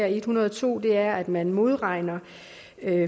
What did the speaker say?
en hundrede og to er at man modregner